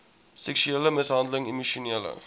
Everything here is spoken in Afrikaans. seksuele mishandeling emosionele